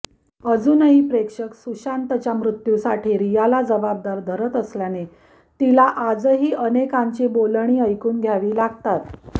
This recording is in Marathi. अजूनही प्रेक्षक सुशांतच्या मृत्यूसाठी रियाला जबाबदार धरत असल्याने तिला आजही अनेकांची बोलणी ऐकून घ्यावी लागतात